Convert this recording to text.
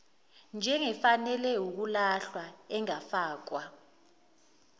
njengefanele ukulahlwa engafakwa